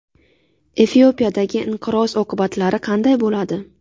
Efiopiyadagi inqiroz oqibatlari qanday bo‘ladi?